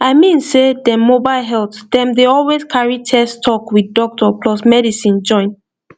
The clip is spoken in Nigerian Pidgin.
i mean sey dem mobile health dem dey always carry test talk with doctor plus medicine join